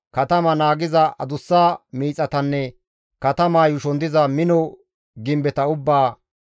katama naagiza adussa miixatanne katamaa yuushon diza mino gimbeta ubbaa,